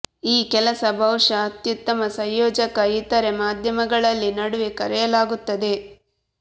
ಈ ಕೆಲಸ ಬಹುಶಃ ಅತ್ಯುತ್ತಮ ಸಂಯೋಜಕ ಇತರೆ ಮಾಧ್ಯಮಗಳಲ್ಲಿ ನಡುವೆ ಕರೆಯಲಾಗುತ್ತದೆ